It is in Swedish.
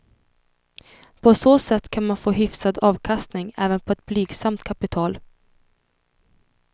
På så sätt kan man få hyfsad avkastning även på ett blygsamt kapital.